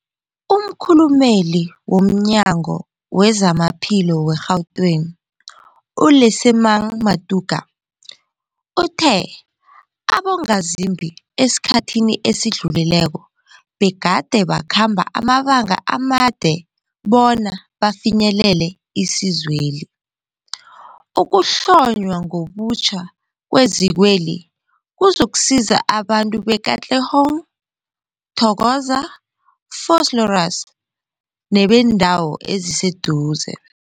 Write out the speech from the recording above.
Umkhulumeli womNyango weZamaphilo we-Gauteng, u-Lesemang Matuka uthe abongazimbi esikhathini esidlulileko begade bakhamba amabanga amade bona bafinyelele isizweli. Ukuhlonywa ngobutjha kwezikweli kuzokusiza abantu be-Katlehong, Thokoza, Vosloorus nebeendawo eziseduze.